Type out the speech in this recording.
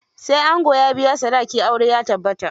Sai ango ya biya sadaki aure ya tabbata.